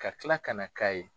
Ka tila ka na k'a ye.